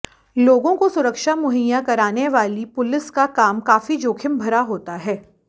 लोगों को सुरक्षा मुहैया कराने वाली पुलिस का काम काफी जोखिम भरा होता है